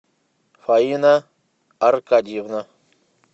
фаина аркадьевна